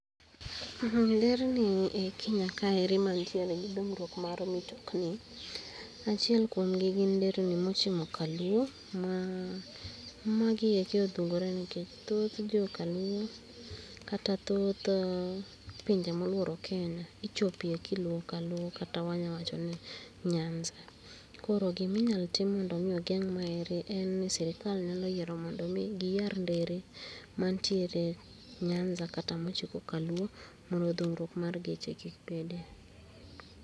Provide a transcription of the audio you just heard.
Nderni e Kenya kae ere mantiere gi dhungruok mar mtokni, achiel kuomgi en nderni mochimo kaluo ma, magieko odhungore nikech thoth joka luo kata thoth pinje moluoro Kenya ichope kiluo kaluo kata wanya wacho ni nyanza. Koro gima inyalo tim mondo mi ogeng' maendi en ni sirkal nyalo yiero mondo mi giyar ndere mantiere Nyanza kaa machopo kaluo mondo dhungruok mar geche kik bede